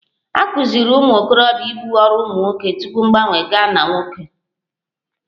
A kụziiri ụmụ okorobia ibu ọrụ ụmụ nwoke tupu mgbanwe gaa na nwoke